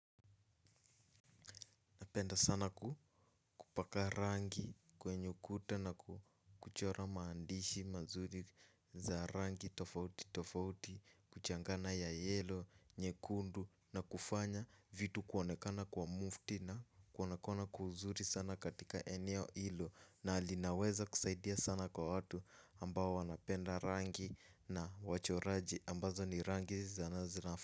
Napenda sana kupaka rangi kwenye ukuta na kuchora maandishi mazuri za rangi tofauti tofauti kuchanganya ya yelo, nyekundu na kufanya vitu kuonekana kwa mufti na kuonekana kwa uzuri sana katika eneo ilo na linaweza kusaidia sana kwa watu ambao wanapenda rangi na wachoraji ambazo ni rangi za raha zina.